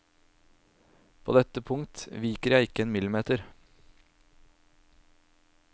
På dette punkt viker jeg ikke en millimeter.